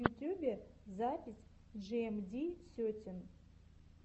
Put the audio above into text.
в ютьюбе запись джиэмди сетин